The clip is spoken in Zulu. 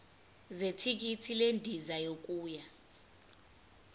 zethikithi lendiza yokuya